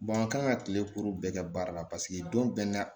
an kan ka kile kuru bɛɛ kɛ baara la paseke don bɛɛ